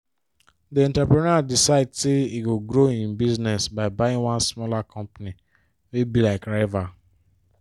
the entrepreneur decide say e go grow him business by buying one smaller company wey be like rival.